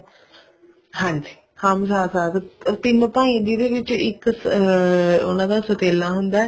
ਹਾਂਜੀ ਹਮ ਸਾਥ ਸਾਥ ਤਿੰਨ ਭਾਈ ਜਿਹਦੇ ਵਿੱਚ ਇੱਕ ਅਹ ਉਹਨਾ ਦਾ ਸੋਤੇਲਾ ਹੁੰਦਾ